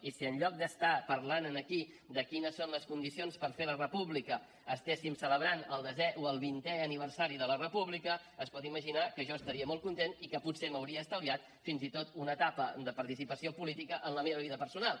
i si en lloc d’estar parlant aquí de quines són les condicions per fer la república estiguéssim celebrant el desè o el vintè aniversari de la república es pot imaginar que jo estaria molt content i que potser m’hauria estalviat fins i tot una etapa de participació política en la meva vida personal